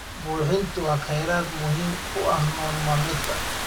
Buuxinta waa kheyraad muhiim u ah nolol maalmeedka.